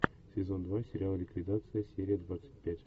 сезон два сериал ликвидация серия двадцать пять